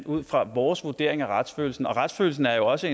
ud fra vores vurdering af retsfølelsen og retsfølelsen er jo også